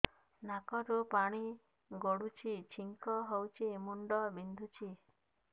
ନାକରୁ ପାଣି ଗଡୁଛି ଛିଙ୍କ ହଉଚି ମୁଣ୍ଡ ବିନ୍ଧୁଛି